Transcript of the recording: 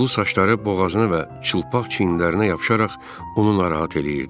Sulu saçları boğazına və çılpaq çiyninə yapışaraq onu narahat eləyirdi.